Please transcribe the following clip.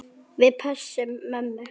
Við pössum mömmu.